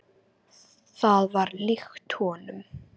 Það var líkt honum.